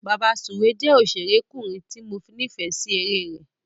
Bàbasùwé jẹ́ òṣèrékùnrin tí mo nífẹ̀é sí eré rẹ̀.